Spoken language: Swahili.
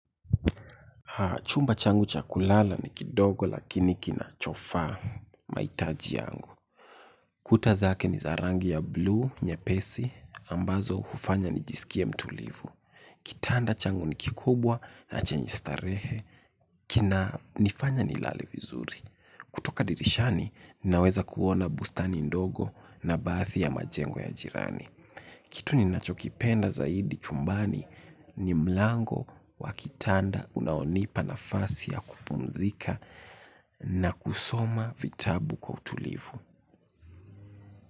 Chumba changu cha kulala ni kidogo lakini kinachofaa mahitaji yangu. Kuta zake ni za rangi ya 'blue' nyepesi ambazo hufanya nijisikie mtulivu. Kitanda changu ni kikubwa na chenye starehe. Kinanifanya nilale vizuri. Kutoka dirishani naweza kuona bustani ndogo, na baadhi ya majengo ya jirani. Kitu ninachokipenda zaidi chumbani ni mlango wa kitanda unaonipa nafasi ya kupunzika, na kusoma vitabu kwa utulivu.